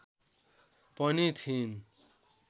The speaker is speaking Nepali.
पनि थिइन